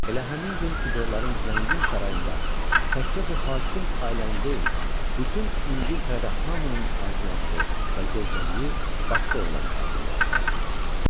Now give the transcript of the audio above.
Elə həmin gün tudorların zəngin sarayında təkcə bu hakim ailənin deyil, bütün İngiltərədə hamının arzuladığı və gözlədiyi başqa oğlan uşağı dünyaya gəldi.